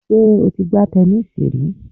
Sé o ti gbá tẹnísíì rí